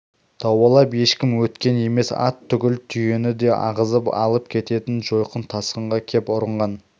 дауалап ешкім өткен емес ат түгіл түйені де ағызып алып кететін жойқын тасқынға кеп ұрынған